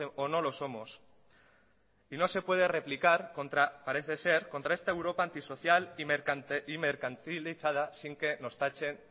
o no lo somos y no se puede replicar parece ser contra esta europa antisocial y mercantilizada sin que nos tachen